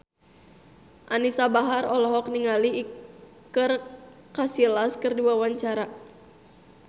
Anisa Bahar olohok ningali Iker Casillas keur diwawancara